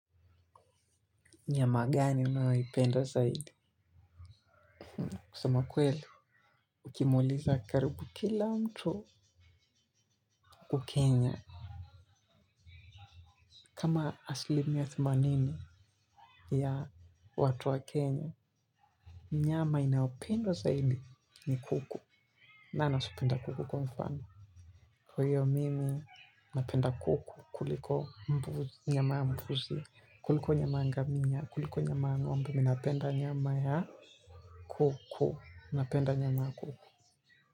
Nyama gani unayoipenda zaidi? Kusema kweli, ukimuuliza karibu kila mtu huku Kenya. Kama aslimia themanini ya watu wa Kenya, nyama inayopendwa zaidi ni kuku. Nani asiopenda kuku kwa mfano. Kwa iyo mimi napenda kuku kuliko nyama ya mbuzi. Kuliko nyama ya ngamia, kuliko nyama ya ngombe ninapenda nyama ya kuku. Napenda nyama ya kuku.